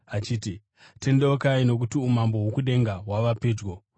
achiti, “Tendeukai, nokuti umambo hwokudenga hwava pedyo.”